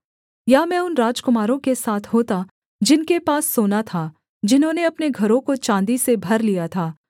या मैं उन राजकुमारों के साथ होता जिनके पास सोना था जिन्होंने अपने घरों को चाँदी से भर लिया था